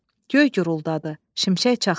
Göy guruldadı, şimşək çaxdı.